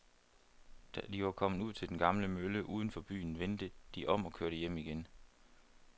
Da de var kommet ud til den gamle mølle uden for byen, vendte de om og kørte hjem igen.